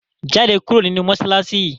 jáde kúrò ninú masalasi yi!